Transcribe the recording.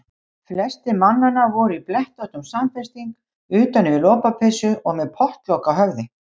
Flestir mannanna voru í blettóttum samfesting utan yfir lopapeysu og með pottlok á höfði.